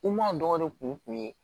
U m'a dɔgɔnɔ de kun ye